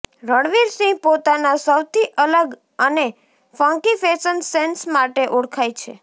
રણવીર સિંહ પોતાના સૌથી અલગ અને ફંકી ફેશન સેન્સ માટે ઓળખાય છે